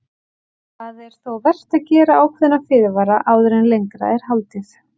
Það er þó vert að gera ákveðna fyrirvara áður en lengra er haldið.